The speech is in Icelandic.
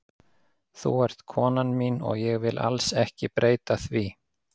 Þú ert konan mín og ég vil alls ekki breyta því.